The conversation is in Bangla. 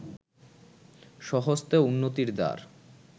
স্বহস্তে উন্নতির দ্বার